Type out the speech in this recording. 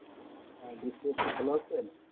আহ বিশ্লে আপু ভালো আছেন?